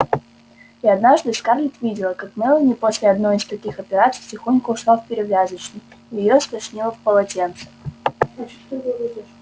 и однажды скарлетт видела как мелани после одной из таких операций тихонько ушла в перевязочную и её стошнило в полотенце